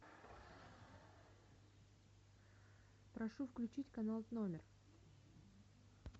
прошу включить канал номер